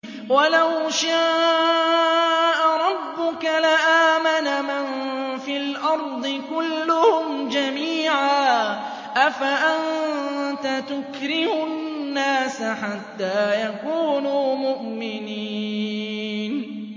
وَلَوْ شَاءَ رَبُّكَ لَآمَنَ مَن فِي الْأَرْضِ كُلُّهُمْ جَمِيعًا ۚ أَفَأَنتَ تُكْرِهُ النَّاسَ حَتَّىٰ يَكُونُوا مُؤْمِنِينَ